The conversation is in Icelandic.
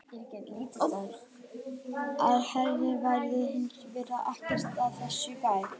Án efnafræði væri hins vegar ekkert af þessu hægt.